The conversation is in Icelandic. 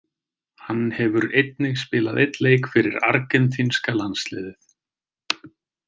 Hann hefur einnig spilað einn leik fyrir argentínska landsliðið.